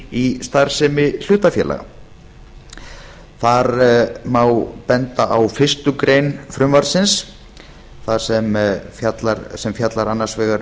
í starfsemi hlutafélaga þar má benda á fyrstu grein frumvarpsins sem fjallar annars vegar